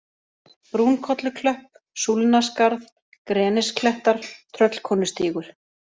Brúnkolluklöpp, Súlnaskarð, Grenisklettar, Tröllkonustígur